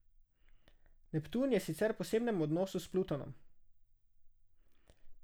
Neptun je sicer v posebnem odnosu s Plutonom.